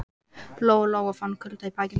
Lóa Lóa fann fyrir kulda í bakinu.